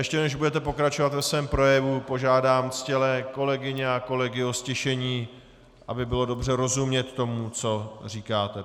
Ještě než budete pokračovat ve svém projevu, požádám ctěné kolegyně a kolegy o ztišení, aby bylo dobře rozumět tomu, co říkáte.